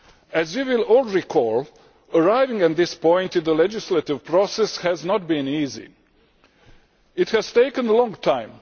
As we all know, arriving at this point in the legislative process has not been easy. It has taken a long time